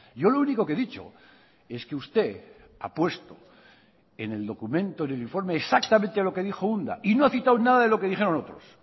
yo lo único que he dicho es que usted ha puesto en el documento en el informe exactamente lo que dijo unda y no ha citado nada de lo que dijeron otros